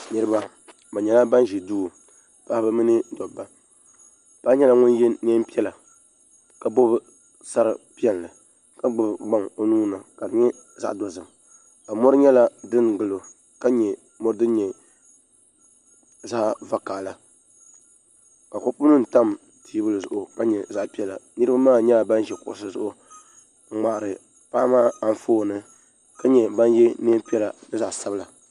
Niriba bi nyɛla bani zi duu paɣaba mini dabba paɣa nyɛla ŋuni ye nɛɛn piɛlla ka bɔbi sari piɛlli ka gbubi gbaŋ o nuu ni ka di nyɛ zaɣi dozim ka mori nyɛla dini gili o ka nyɛ mori dini nyɛ zaɣi vakahali ka kopu nima tam tɛɛbuli zuɣu ka nyɛ zaɣi piɛlla niriba maa nyɛla ban zi kuɣusi zuɣu n mŋahiri paɣa maa anfooni ka nyɛ bani ye nɛɛn piɛlla ni zaɣi sabila.